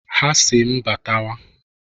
Ha a sị m "Batawa!"